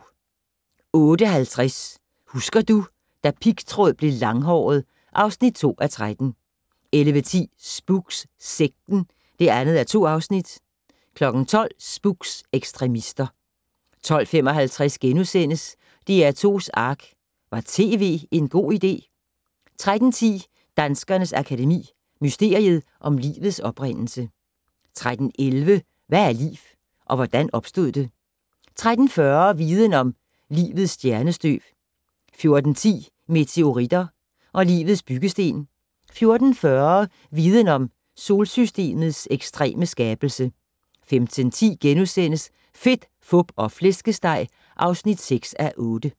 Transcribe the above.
08:50: Husker du - da pigtråd blev langhåret (2:13) 11:10: Spooks: Sekten (2:2) 12:00: Spooks: Ekstremister 12:55: DR2's Ark - Var tv en god idé? * 13:10: Danskernes Akademi: Mysteriet om livets oprindelse 13:11: Hvad er liv - og hvordan opstod det? 13:40: Viden om - Livets stjernestøv 14:10: Meteoritter og livets byggesten 14:40: Viden om - Solsystemets ekstreme skabelse 15:10: Fedt, Fup og Flæskesteg (6:8)*